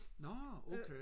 nå okay